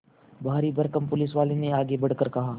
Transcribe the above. भारीभरकम पुलिसवाले ने आगे बढ़कर कहा